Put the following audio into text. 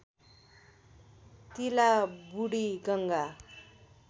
तिला बुढीगङ्गा